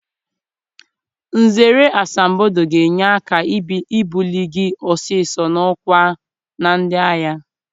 Nzere asambodo ga-enye aka ibuli gị ọsịsọ n'ọkwa na ndị agha.